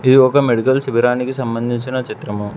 ఇది ఒక మెడికల్ శిబిరానికి సంబందించిన చిత్రము.